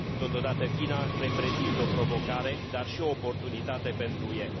Totodată, China reprezintă o provocare, dar și o oportunitate pentru UE.